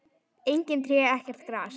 Engin tré, ekkert gras.